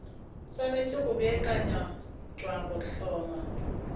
swanetše go beakanyetša go hlongwa